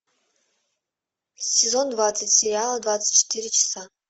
сезон двадцать сериал двадцать четыре часа